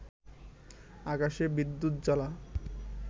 আকাশে বিদ্যুৎজ্বলা